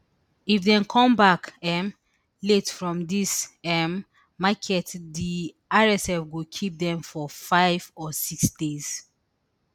if dem come back um late from dis um market di rsf go keep dem for five or six days